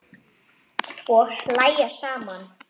Og hlæja saman.